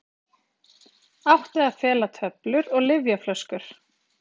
Átti að fela töflur og lyfjaflöskur